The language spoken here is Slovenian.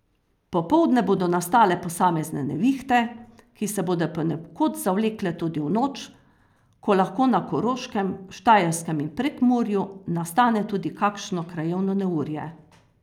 Popoldne bodo nastale posamezne nevihte, ki se bodo ponekod zavlekle tudi v noč, ko lahko na Koroškem, Štajerskem in v Prekmurju nastane tudi kakšno krajevno neurje.